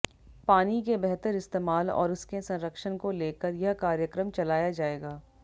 पानी के बेहतर इस्तेमाल और उसके संरक्षण को लेकर यह कार्यक्रम चलाया जायेगा